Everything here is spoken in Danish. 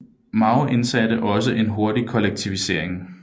Mao igangsatte også en hurtig kollektivisering